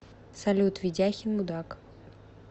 салют ведяхин мудак